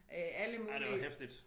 Øh alle mulige